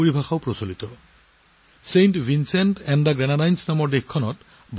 saint Vincent আৰু গ্ৰেনাডাইনছত বাস কৰা আমাৰ ভাৰতীয় মূলৰ ভাই ভনীৰ সংখ্যাও প্ৰায় ছয় হাজাৰ